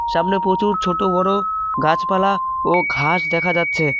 সামনে পচুর ছোট বড়ো গাছপালা ও ঘাস দেখা যাচ্ছে।